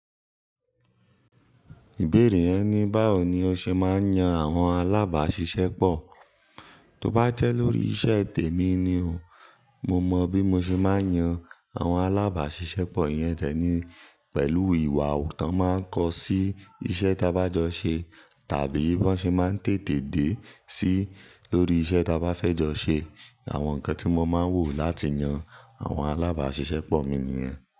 Ìbéèrè rẹ ní báwo ni o ṣe máa ń yan àwọn alábàáṣiṣẹ́pọ̀. Tó bá tẹ lórí iṣẹ́ tèmi ni o. Mo mọ bí mo ṣe máa ń yan àwọn alábàáṣiṣẹ́pọ̀ iyẹn de ni pẹ̀lú ìwà tán máa ń kọ sí iṣẹ́ tí a bá jọ ṣe tàbí bí wọ́n ṣe máa ń tètè dé sí lórií iṣẹ́ tí a bá fẹ́ jọ ṣe. Àwọn nǹkan tí mo máa ń wò láti yan àwọn alábàáṣiṣẹ́pọ̀ mi nìyẹn.